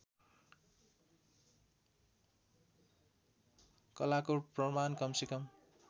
कलाको प्रमाण कमसेकम